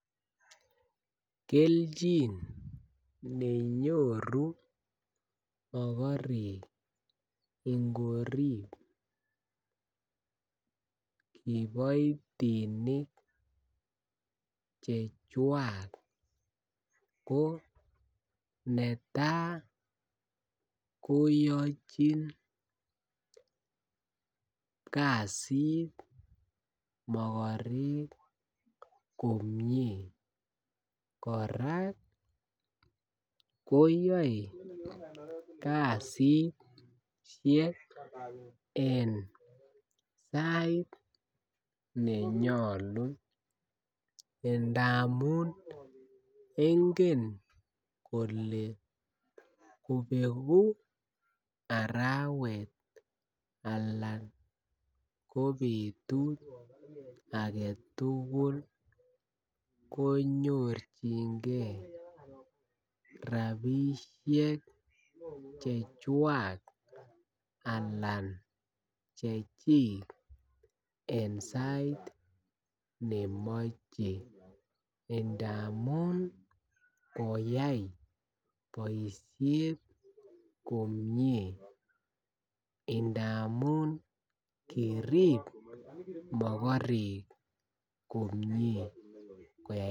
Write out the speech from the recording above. Kelchin nenyoru mokorek ingorib kiboitinik chechwak ko neta ko yochin kasit mogorek komie korak koyoe kasisiek eng sait nenyolu indamun ingen kole kobegu arawet alan ko betut agetugul konyorjingen rabisiek chechwak alan chechik eng sait nemoche indamun koyai boisiet komie, indamun kirib mogorek komie koyai.